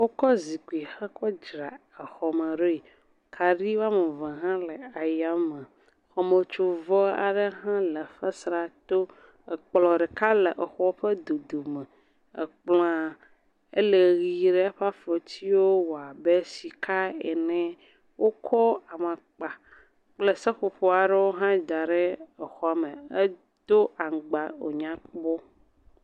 Wokɔ zikpui he kɔ dzra exɔ me ɖoe, kaɖi woame eve hã le ayame. Xɔmetsovɔ aɖe hã le fesrea to, ekplɔ̃ ɖeka le exɔa ƒe dodome. Ekplɔ̃a, ele ɣi ɖe, eƒe afɔtiwo wɔ abe sika ené. Wokɔ amakpa kple seƒoƒo aɖewo hã da ɖe exɔa me, edo aŋgba wo nyakpɔ.